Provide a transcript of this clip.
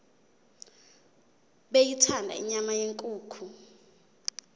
beyithanda inyama yenkukhu